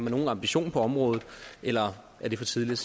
nogen ambitioner på området eller er det for tidligt